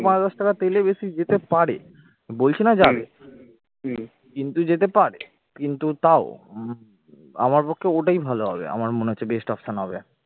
পাঁচ দশ টাকা তেলে বেশি যেতে পারে বলছি না যাবে কিন্তু যেতে পারে কিন্তু তাও উম আমার পক্ষে ওটাই ভালো হবে আমার মনে হচ্ছে best option হবে